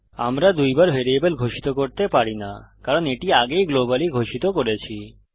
আমরা দুইবার ভ্যারিয়েবল ঘোষিত করতে পারি না কারণ এটি আগেই গ্লোবালি ঘোষিত করেছি